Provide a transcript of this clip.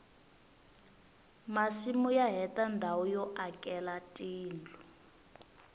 masimu ya heta ndhawu yo akela tindlu